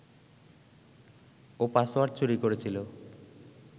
ও password চুরি করেছিল